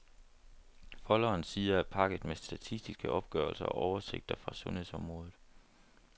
Folderens sider er pakket med statistiske opgørelser og oversigter fra sundhedsområdet.